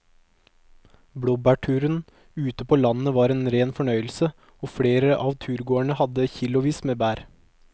Blåbærturen ute på landet var en rein fornøyelse og flere av turgåerene hadde kilosvis med bær.